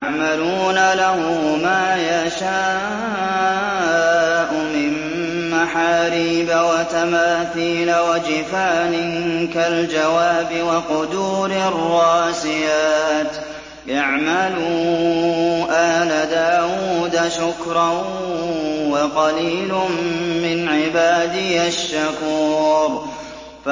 يَعْمَلُونَ لَهُ مَا يَشَاءُ مِن مَّحَارِيبَ وَتَمَاثِيلَ وَجِفَانٍ كَالْجَوَابِ وَقُدُورٍ رَّاسِيَاتٍ ۚ اعْمَلُوا آلَ دَاوُودَ شُكْرًا ۚ وَقَلِيلٌ مِّنْ عِبَادِيَ الشَّكُورُ